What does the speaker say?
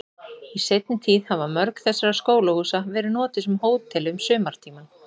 Í seinni tíð hafa mörg þessara skólahúsa verið notuð sem hótel um sumartímann.